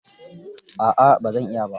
A'a ba zan iya ba.